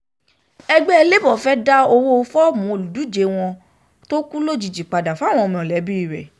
ẹgbẹ́ labour fẹ́ẹ́ dá um owó fọ́ọ̀mù olùdíje wọn tó kú lójijì padà fáwọn mọ̀lẹ́bí rẹ̀ um